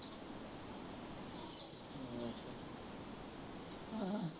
ਅਹ